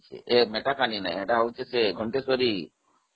ସେଇଟା ମେଟକାନି ନୁହଁ, ସେଇଟା ଘନଟେଶ୍ଵରୀ